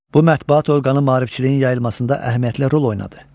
Bu mətbuat orqanı maarifçiliyin yayılmasında əhəmiyyətli rol oynadı.